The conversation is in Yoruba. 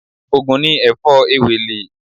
Ògùn ni Èfó Ewèlè